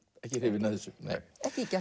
ekki hrifin af þessu nei ekki ýkja